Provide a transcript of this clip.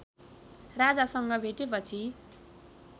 राजासँग भेटेपछि